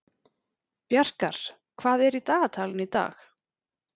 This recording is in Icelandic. Bjarkar, hvað er í dagatalinu í dag?